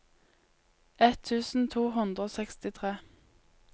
ett tusen to hundre og sekstitre